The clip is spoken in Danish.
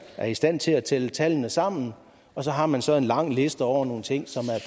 er i stand til at tælle tallene sammen og så har man så en lang liste over nogle ting som er